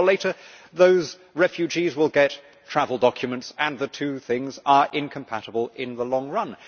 Sooner or later, those refugees will get travel documents and the two things are incompatible in the long run.